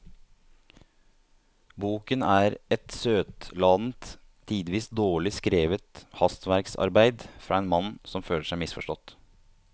Boken er et søtladent, tidvis dårlig skrevet hastverksarbeid fra en mann som føler seg misforstått.